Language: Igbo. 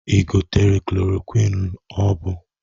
Ị gotere kloroquiñ ọ bụ?